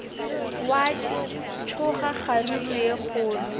gwa tsoga kgaruru ye kgolo